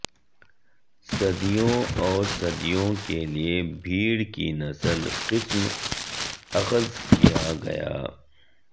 صدیوں اور صدیوں کے لئے بھیڑ کی نسل قسم اخذ کیا گیا